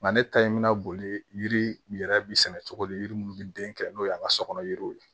Nka ne ta in bɛ na boli yiri yɛrɛ bi sɛnɛ cogo di yiri munnu bi den kɛ n'o ye an ka so kɔnɔ yiriw ye